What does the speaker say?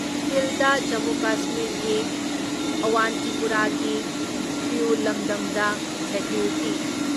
ꯀꯤꯜꯗ ꯖꯃꯨ ꯀꯥꯁꯃꯤꯔꯒꯤ ꯑꯋꯟꯇꯤꯄꯨꯔꯥꯒꯤ ꯈ꯭ꯔꯤꯎ ꯂꯝꯗꯝꯗ ꯁꯦꯀ꯭ꯌꯨꯔꯤꯇꯤ